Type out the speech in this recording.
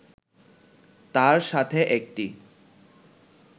তার সাথে একটি